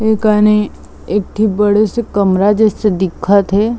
ए कनि एक ठी बड़े से कमरा जइसे दिखत हे।